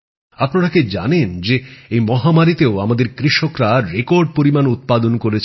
আপনারা কি জানেন যে এই মহামারীতেও আমাদের কৃষকেরা রেকর্ড উৎপাদন করেছে